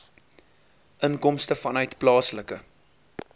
inkomste vanuit plaaslike